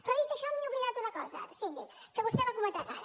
però dit això m’he oblidat una cosa síndic que vostè l’ha comentat ara